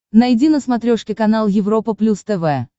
найди на смотрешке канал европа плюс тв